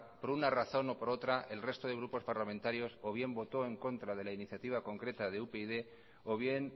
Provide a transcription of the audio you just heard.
por una razón o por otra el resto de grupos parlamentarios o bien votó en contra de la iniciativa concreta de upyd o bien